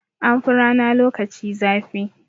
An fi rana lokaci zafi.